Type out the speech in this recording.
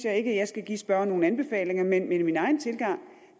at jeg skal give spørgeren nogen anbefalinger men min egen tilgang